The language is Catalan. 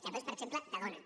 de veus per exemple de dona